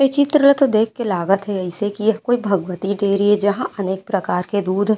यह चित्र ल तो देख के लागते ऐसे की यह कोई भगवती डेरी जहा अनेक प्रकार के दूध --